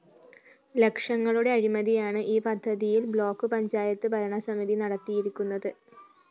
ലക്ഷങ്ങളുടെ അഴിമതിയാണ് ഈ പദ്ധതിയിൽ ബ്ലോക്ക്‌ പഞ്ചായത്ത് ഭരണസമിതി നടത്തിയിരിക്കുന്നത്